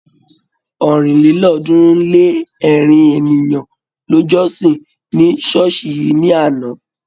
ọ̀rìnlélọ́ọ̀ọ́dúnrún-lé-ẹ̀rin ènìyàn ló jọ́sìn ní ṣọ́ọ̀ṣì yìí ní àná.